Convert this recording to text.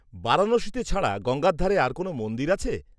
-বারাণসীতে ছাড়া গঙ্গার ধারে আর কোনও মন্দির আছে?